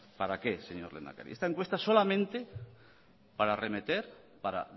para qué señor lehendakari esta encuesta solamente para arremeter para